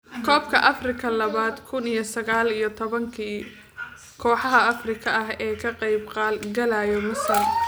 Koobka Afrika labada kuun iyo sagal iyo tobanka: Kooxaha Afrikaanka ah ee ka qayb galaya Masar